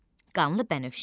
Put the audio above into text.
Qanlı Bənövşə.